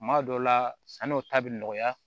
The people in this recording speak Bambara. Kuma dɔw la sanniw ta bɛ nɔgɔya